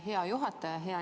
Aitäh, hea juhataja!